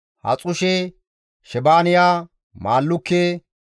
Haxushe, Shebaaniya, Maallukke,